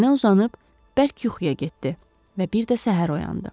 Yerinə uzanıb bərk yuxuya getdi və bir də səhər oyandı.